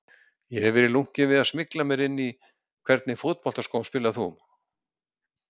Ég hef verið lunkinn við að smygla mér inn Í hvernig fótboltaskóm spilar þú?